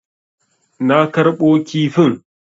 Na karɓo kifin.